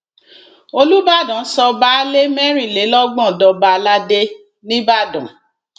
olùbàdàn sọ baálé mẹrìnlélọgbọn dọba aládé nìbàdàn